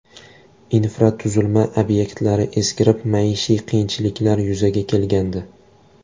Infratuzilma obyektlari eskirib, maishiy qiyinchiliklar yuzaga kelgandi.